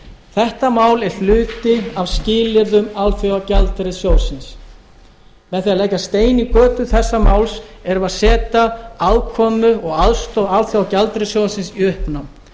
þetta mál er hluti af skilyrðum alþjóðagjaldeyrissjóðsins með því að leggja stein í götu þessa máls erum við að setja afkomu og aðstoð alþjóðagjaldeyrissjóðsins í uppnám